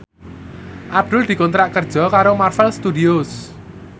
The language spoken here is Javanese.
Abdul dikontrak kerja karo Marvel Studios